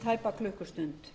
tæpa klukkustund